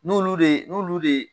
N'olu de n'olulu de.